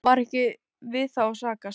Auðvitað var ekki við þá að sakast.